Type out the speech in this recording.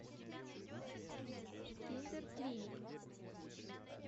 киндер клиник